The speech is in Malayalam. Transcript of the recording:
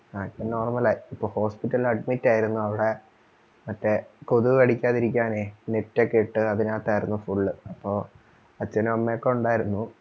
ഇപ്പൊ നോർമൽ ആയി ഇപ്പോ hospital admit ആയിരുന്നു അവിടെ മറ്റേ കൊതു കടിക്കാതിരിക്കാനേ net ഒക്കെ ഇട്ട് അതിനാത്തായിരുന്നു full അപ്പൊ അച്ഛനും അമ്മയൊക്കെ ഇണ്ടായിരുന്നു